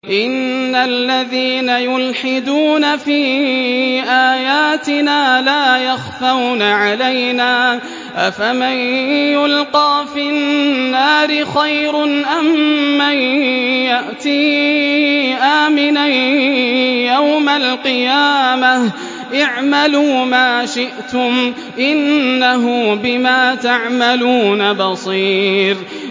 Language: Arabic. إِنَّ الَّذِينَ يُلْحِدُونَ فِي آيَاتِنَا لَا يَخْفَوْنَ عَلَيْنَا ۗ أَفَمَن يُلْقَىٰ فِي النَّارِ خَيْرٌ أَم مَّن يَأْتِي آمِنًا يَوْمَ الْقِيَامَةِ ۚ اعْمَلُوا مَا شِئْتُمْ ۖ إِنَّهُ بِمَا تَعْمَلُونَ بَصِيرٌ